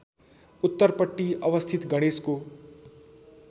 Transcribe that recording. उत्तरपट्टि अवस्थित गणेशको